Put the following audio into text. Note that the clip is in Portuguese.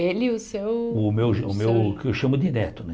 Ele e o seu... O meu o meu o que eu chamo de neto, né?